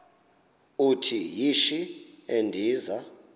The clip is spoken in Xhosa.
uthi yishi endiza